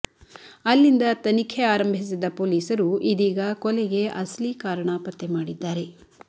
ಅಲ್ಲಿಂದ ತನಿಖೆ ಆರಂಭಿಸಿದ್ದ ಪೊಲೀಸರು ಇದೀಗ ಕೊಲೆಗೆ ಅಸಲಿ ಕಾರಣ ಪತ್ತೆಮಾಡಿದ್ದಾರೆ